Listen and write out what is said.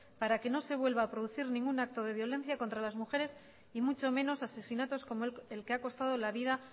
para que no se vuelva a producir ningún acto de violencia contra las mujeres y mucho menos asesinatos como el que ha costado la vida